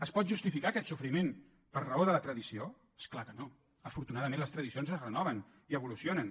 es pot justificar aquest sofriment per raó de la tradició és clar que no afortunadament les tradicions es renoven i evolucionen